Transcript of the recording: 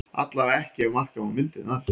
Allavega ekki ef marka má myndirnar